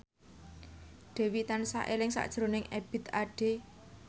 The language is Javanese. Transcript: Dewi tansah eling sakjroning Ebith Ade